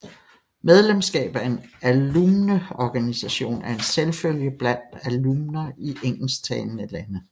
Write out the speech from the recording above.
Medlemskab af en alumneorganisation er en selvfølge blandt alumner i engelsktalende lande